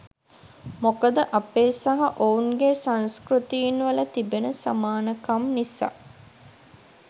මොකද අපේ සහ ඔවුන් ගේ සංස්කෘතීන් වල තිබෙන සමානකම් නිසා.